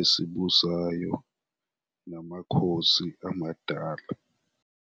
esibusayo namakhosi amadala.